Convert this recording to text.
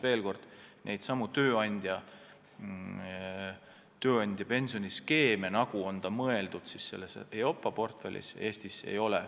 Veel kord: selliseid tööandjapensionide skeeme, nagu need EIOPA portfellis on, Eestis ei tunta.